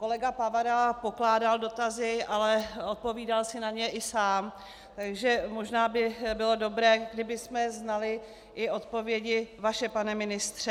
Kolega Pavera pokládal dotazy, ale odpovídal si na ně i sám, takže možná by bylo dobré, kdybychom znali i odpovědi vaše, pane ministře.